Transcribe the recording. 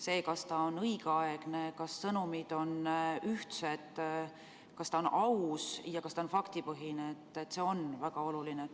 See, kas ta on õigeaegne, kas sõnumid on ühtsed, kas ta on aus ja kas ta on faktipõhine, on väga oluline.